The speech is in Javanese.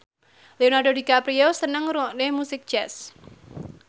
Leonardo DiCaprio seneng ngrungokne musik jazz